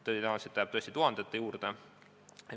Tõenäoliselt jääb see tuhandete juurde.